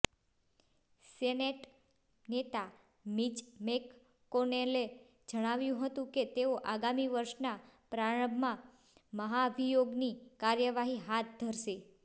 senate નેતા Mitch મેકકોનેલે જણાવ્યું હતું કે તેઓ આગામી વર્ષના પ્રારંભમાં મહાભિયોગની કાર્યવાહી હાથ ધરશે